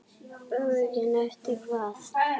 Menntun sem nýtist í starfi.